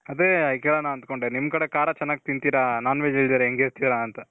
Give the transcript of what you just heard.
ಅದೇ ಕೇಳಣ ಅನ್ಕಂಡೆ ನಿಮ್ ಕಡೆ ಖಾರ ಚೆನಾಗ್ ತಿಂತಿರ. non-veg ಇಲ್ದೇನೆ ಹೆಂಗಿರ್ತಿರ ಅಂತ.